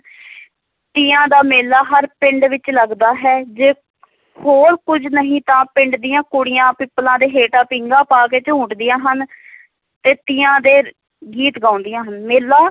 ਤੀਆਂ ਦਾ ਮੇਲਾ ਹਰ ਪਿੰਡ ਵਿੱਚ ਲਗਦਾ ਹੈ, ਜੇ ਹੋਰ ਕੁੱਝ ਨਹੀ ਤਾਂ ਪਿੰਡ ਦੀਆਂ ਕੁੜੀਆਂ, ਪਿਪਲਾਂ ਦੇ ਹੇਠਾਂ ਪੀਂਘਾਂ ਪਾ ਕੇ ਝੂਟਦੀਆਂ ਹਨ ਤੇ ਤੀਆਂ ਦੇ ਗੀਤ ਗਾਉਦੀਆਂ, ਮੇਲਾ